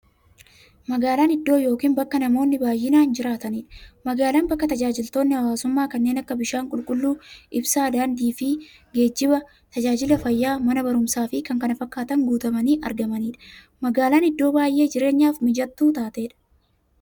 Magaalan iddoo yookiin bakka namoonni baay'inaan jiraataniidha. Magaalan bakka taajajilootni hawwaasummaa kanneen akka; bishaan qulqulluu, ibsaa, daandiifi geejjiba, taajajila fayyaa, Mana baruumsaafi kanneen kana fakkatan guutamanii argamaniidha. Magaalan iddoo baay'ee jireenyaf mijattuu taateedha.